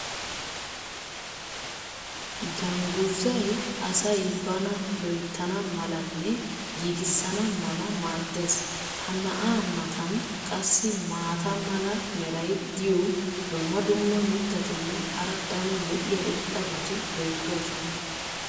dangguzay asay bana loyttana malanne giigisana mala maadees. ha na'aa matan qassi maata mala meray diyo dumma dumma mitatinne hara daro lo'iya irxxabati beetoosona.